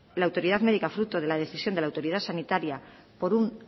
la autoridad médica fruto de la decisión de la autoridad sanitaria por un